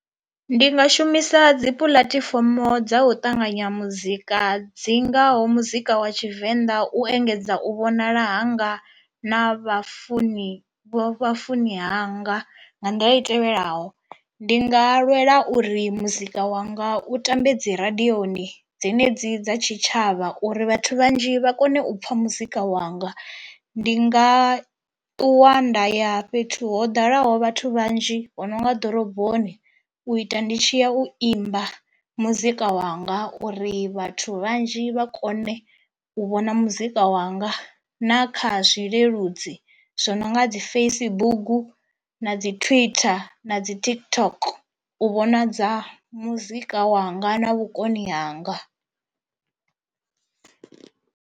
Ndi nga shumisa dzi puḽatifomo dza u ṱanganya muzika dzi ngaho muzika wa tshivenḓa u engedza u vhonala hanga na vhafuni vha vhafuni hanga nga nḓila i tevhelaho, ndi nga lwela uri muzika wanga u tambe dzi radioni dzenedzi dza tshitshavha uri vhathu vhanzhi vha kone u pfha muzika wanga. Ndi nga takuwanda ya fhethu ho ḓalaho vhathu vhanzhi ho nonga ḓoroboni u ita ndi tshi ya u imba muzika wanga uri vhathu vhanzhi vha kone u vhona muzika wanga, na kha zwileludzi zwi no nga dzi Facebook na dzi twitter na dzi TikTok u vhonadza muzika wanga na vhukoni hanga.